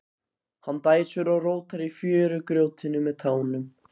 Hann dæsir og rótar í fjörugrjótinu með tánum.